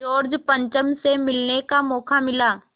George पंचम से मिलने का मौक़ा मिला